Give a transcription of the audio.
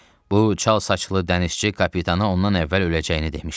Bu çalsaçlı dənizçi kapitana ondan əvvəl öləcəyini demişdi.